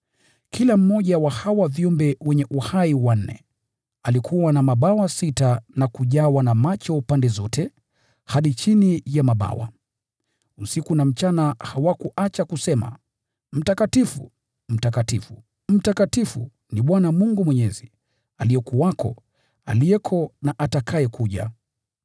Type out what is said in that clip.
Kila mmoja wa hawa viumbe wanne wenye uhai alikuwa na mabawa sita, na kujawa na macho pande zote hadi chini ya mabawa. Usiku na mchana hawaachi kusema: “Mtakatifu, Mtakatifu, Mtakatifu, ni Bwana Mungu Mwenyezi, aliyekuwako, aliyeko na atakayekuja.”